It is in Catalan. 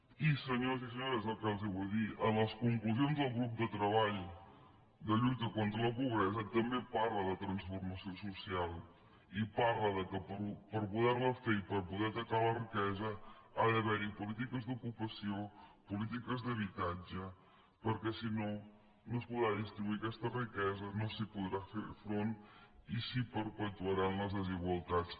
i senyors i senyores el que els vull dir en les conclusions del grup de treball de lluita contra la pobresa també es parla de transformació social i es parla que per poder la fer i per poder atacar la riquesa ha d’haver hi polítiques d’ocupació polítiques d’habitatge perquè si no no es podrà distribuir aquesta riquesa no s’hi podrà fer front i s’hi perpetuaran les desigualtats